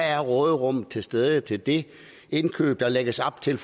er råderummet til stede til det indkøb der lægges op til